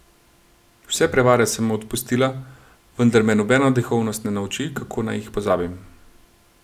Vse prevare sem mu odpustila, vendar me nobena duhovnost ne nauči, kako naj jih pozabim.